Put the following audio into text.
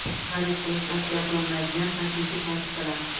Xarid qilish tavsiya qilinmaydigan kosmetik vositalar.